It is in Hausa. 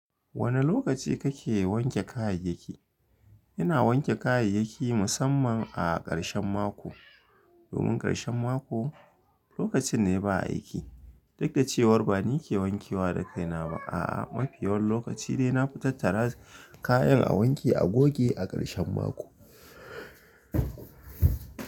Wane lokaci kake wanke kayayyaki? Ina wanke kayayyaki musamman a ƙarshen mako. Domun ƙarshen mako, lokacin ne ba aiki. Dik da cewar ba ni ke wanke wa da kaina ba. A'a, mafi yawan lokaci de na fu tattara, kayan a wanke a goge a ƙarshen mako.